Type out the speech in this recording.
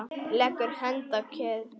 Leggur hönd að kinn.